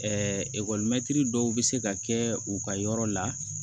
ekɔlimɛtiri dɔw bɛ se ka kɛ u ka yɔrɔ la